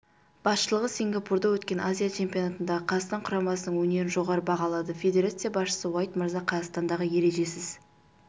басшылығы сингапурда өткен азия чемпионатындағы қазақстан құрамасының өнерін жоғары бағалады федерация басшысы уайт мырза қазақстандағы ережесіз